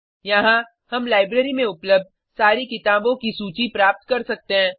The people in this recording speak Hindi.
यहाँ हम लाइब्रेरी में उपलब्ध सारी किताबों की सूची प्राप्त कर सकते हैं